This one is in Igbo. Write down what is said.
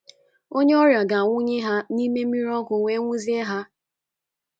Onye ọrịa ga - awụnye ha ná mmiri ọkụ wee ṅụzie ha.